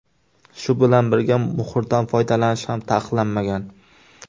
Shu bilan birga, muhrdan foydalanish ham taqiqlanmagan.